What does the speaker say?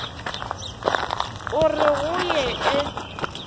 a re go ye e